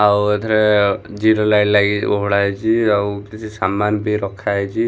ଆଉ ଏଥିରେ zero light ଲାଗି ଓହଳା ହେଇଛି ଆଉ କିଛି ସାମାନ୍‌ ବି ରଖାହେଇଛି।